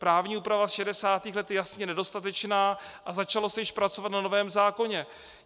Právní úprava z 60. let je jasně nedostatečná a začalo se již pracovat na novém zákoně.